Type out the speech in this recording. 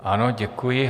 Ano, děkuji.